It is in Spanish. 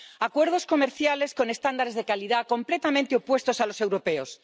acuerdos comerciales con estándares de calidad completamente opuestos a los europeos.